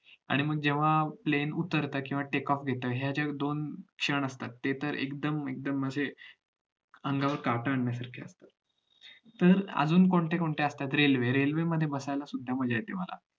आणि मग जेव्हा plain उतरतं किवा take off घेतं हे जे दोन क्षण असतात ते तर एकदम म्हणजे अंगावर काटे येऊ शकतात तर अजून कोणतेकोणते असतात रेल्वे रेल्वेमध्ये बसायला सुद्धा मज्जा येते मला